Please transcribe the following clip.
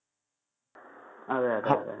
അതെ അതെ അതെ.